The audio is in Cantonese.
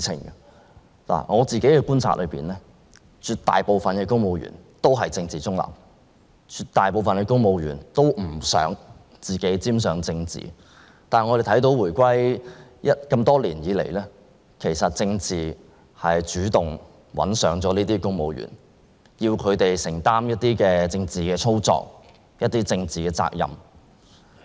根據我自己的觀察，絕大部分公務員都是政治中立的，他們都不想自己沾上政治，但我們看到回歸後的這些年，政治主動找上了公務員，令他們要作出一些政治操作和承擔政治責任。